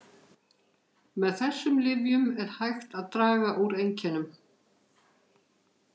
Með þessum lyfjum er hægt að draga úr einkennum.